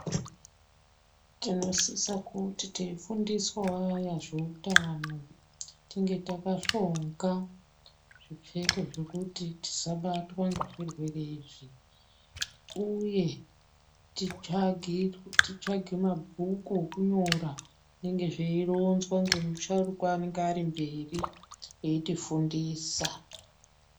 Tinosise kuti teifundiswa waya zveutano tinge takahlonga zvipfeko zvekuti tisabatwa ngezvirwere izvi, uye titsvage mabhuku okunyora zvinenge zveironzwa ngemusharukwa anonga ari mberi eitifundisa.